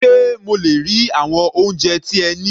Sé mo le rí àwọn oúnjẹ tí ẹ ní?